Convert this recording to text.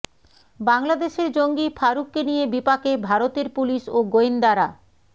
বাংলাদেশের জঙ্গি ফারুককে নিয়ে বিপাকে ভারতের পুলিশ ও গোয়েন্দারা